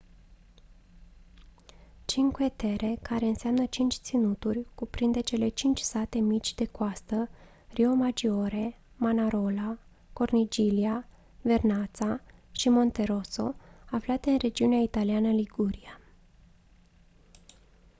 cinque terre care înseamnă cinci ținuturi cuprinde cele cinci sate mici de coastă riomaggiore manarola corniglia vernazza și monterosso aflate în regiunea italiană liguria